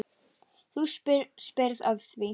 Þú spyrð að því.